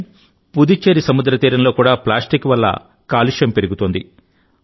కానీ పుదుచ్చేరి సముద్ర తీరంలో కూడా ప్లాస్టిక్ వల్ల కాలుష్యం పెరుగుతోంది